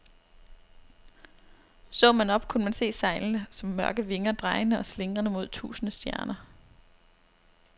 Så man op, kunne man se sejlene som mørke vinger, drejende og slingrende mod tusinde stjerner.